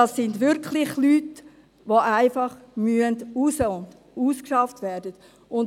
Es sind wirklich Leute, die einfach raus müssen, die ausgeschafft werden müssen.